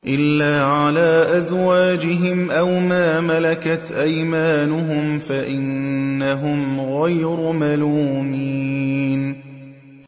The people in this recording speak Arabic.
إِلَّا عَلَىٰ أَزْوَاجِهِمْ أَوْ مَا مَلَكَتْ أَيْمَانُهُمْ فَإِنَّهُمْ غَيْرُ مَلُومِينَ